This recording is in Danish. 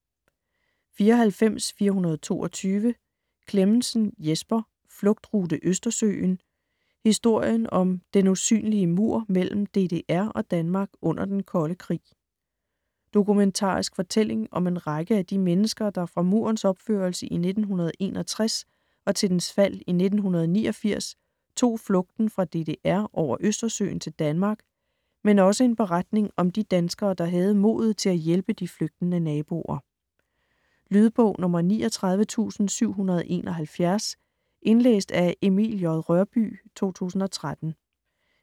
94.422 Clemmensen, Jesper: Flugtrute Østersøen: historien om "den usynlige mur" mellem DDR og Danmark under den kolde krig Dokumentarisk fortælling om en række af de mennesker, der fra Murens opførelse i 1961 til dens fald i 1989 tog fluten fra DDR over Østersøen til Danmark, men også en beretning om de danskere, der havde modet til at hjælpe de flygtende naboer. Lydbog 39771 Indlæst af Emil J. Rørbye, 2013.